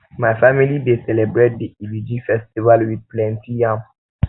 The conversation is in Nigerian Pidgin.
my family dey um celebrate di iriji festival wit plenty yam